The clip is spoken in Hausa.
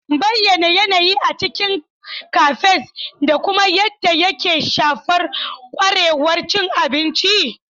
Bayyana yanayi a cikin cafes da kuma yadda yake shafar kwarewar cin abinci.